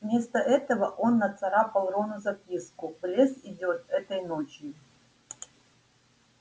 вместо этого он нацарапал рону записку в лес идёт этой ночью